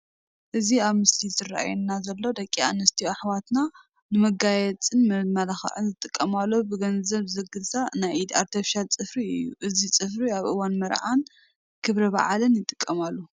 እቲ ኣብቲ ምስሊ ዝራኣየና ዘሎ ደቂ ኣንስትዮ ኣሕዋትና ንመጋየፅን መመላኽዕን ዝጥቀማሉ ብገንዘብ ዝግዛእ ናይ ኢድ ኣርቴፊሻል ፅፍሪ እዩ፡፡ እዚ ፅፍሪ ኣብ እዋን መርዓን ክብረበዓልን ይጥቀማሉ፡፡